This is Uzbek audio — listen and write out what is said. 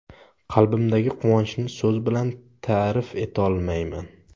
Qalbimdagi quvonchni so‘z bilan ta’rif etolmayman.